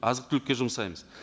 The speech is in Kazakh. азық түлікке жұмсаймыз